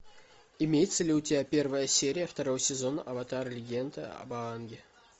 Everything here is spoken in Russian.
имеется ли у тебя первая серия второго сезона аватар легенда об аанге